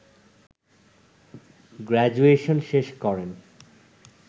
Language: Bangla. গ্রাজুয়েশন শেষ করেন